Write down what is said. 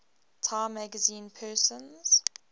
time magazine persons